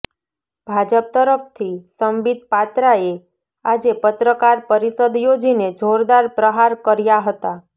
ભાજપ તરફથી સંબીત પાત્રાએ આજે પત્રકાર પરિષદ યોજીને જોરદાર પ્રહાર કર્યા હતા